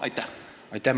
Aitäh!